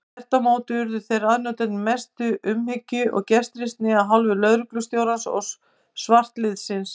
Þvert á móti urðu þeir aðnjótandi mestu umhyggju og gestrisni af hálfu lögreglustjórans og svartliðsins.